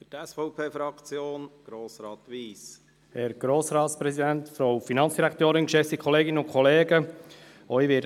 Auch ich werde später nicht für jeden Antrag wieder ans Rednerpult treten.